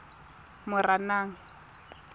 moranang